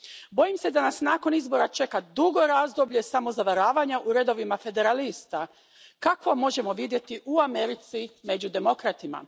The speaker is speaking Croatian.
Bojim se da nas nakon izbora čeka dugo razdoblje samozavaravanja u redovima federalista kakvo možemo vidjeti u Americi, među demokratima.